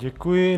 Děkuji.